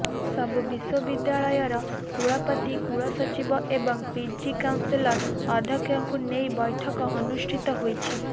ସବୁ ବିଶ୍ବବିଦ୍ୟାଳୟର କୁଳପତି କୁଳସଚିବ ଏବଂ ପିଜି କାଉନସିଲ୍ ଅଧ୍ୟକ୍ଷଙ୍କୁ ନେଇ ବୈଠକ ଅନୁଷ୍ଠିତ ହୋଇଛି